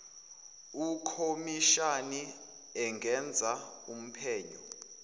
ukhomishani engenza uphenyo